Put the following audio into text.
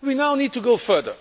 We now need to go further.